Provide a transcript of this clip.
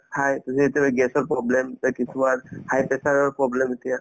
খাই যে এতিয়া যে gas ৰ problem, high pressure ৰ problem এতিয়া